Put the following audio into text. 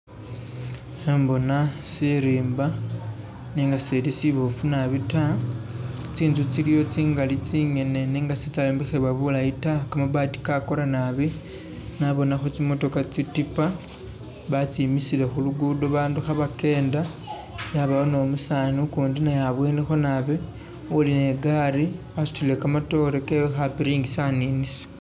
Khembona sirimba nenga sili sibofu nabi ta, tsinzu tsiliwo tsingali tsingene nenga sitsya yombekhebwa bulayi ta, kamabati kakora nabi, nabonakho tsimotoka tsitipa batsimisile khu lugudo bandu khabakenda, yabawo ni umusani ukundi naye abwenikho nabi uli ni i'gari wasutile kamatore kewe khapiringisa aninisa.